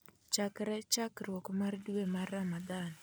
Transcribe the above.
chakre chakruok mar dwe mar Ramadan